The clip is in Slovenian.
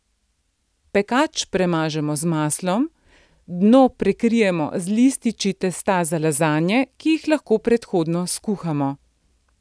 Pekač premažemo z maslom, dno prekrijemo z lističi testa za lazanje, ki jih lahko predhodno skuhamo.